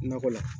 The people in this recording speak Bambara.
Nakɔ la